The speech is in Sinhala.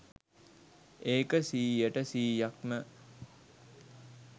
ඒක සීයට සීයක්ම